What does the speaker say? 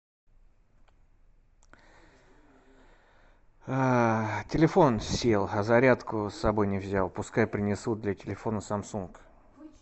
телефон сел а зарядку с собой не взял пускай принесут для телефона самсунг